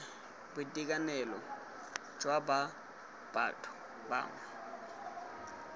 boitekanelong jwa ba batho bangwe